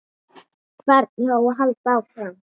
Hvernig á að halda áfram?